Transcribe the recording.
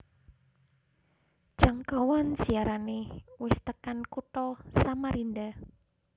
Jangkauan siarane wis tekan kutha Samarinda